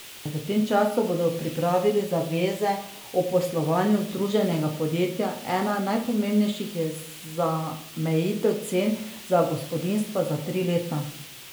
V tem času bodo pripravili zaveze o poslovanju združenega podjetja, ena najpomembnejših je zamejitev cen za gospodinjstva za tri leta.